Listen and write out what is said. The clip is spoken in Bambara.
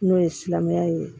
N'o ye silamɛya ye